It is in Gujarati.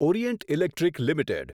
Orient Electric limited